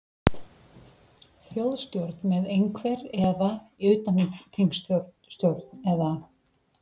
Þjóðstjórn með einhver, eða, eða utanþingsstjórn eða?